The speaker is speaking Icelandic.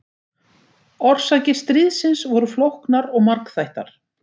Orsakir stríðsins voru flóknar og margþættar.